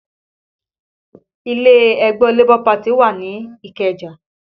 Ilé ẹgbẹ́ Labour wà ní Ikeja